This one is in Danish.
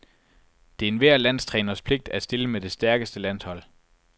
Det er enhver landstræners pligt at stille med det stærkeste landshold.